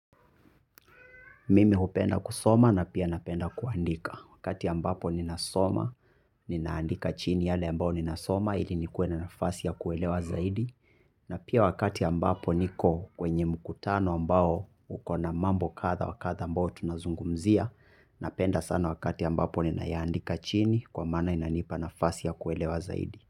Mimi hupenda kusoma na pia napenda kuandika. Wakati ambapo ninasoma, ninaandika chini yale ambao ninasoma ili nikuwe na nafasi ya kuelewa zaidi. Na pia wakati ambapo niko kwenye mkutano ambao ukona mambo kadha wakadha ambao tunazungumzia. Napenda sana wakati ambapo ninayandika chini kwa mana inanipa nafasi ya kuelewa zaidi.